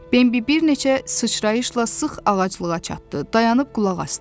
Bambi bir neçə sıçrayışla sıx ağaclığa çatdı, dayanıb qulaq asdı.